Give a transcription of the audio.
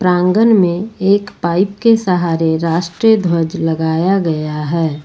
आंगन में एक पाइप के सहारे राष्ट्रीय ध्वज लगाया गया है।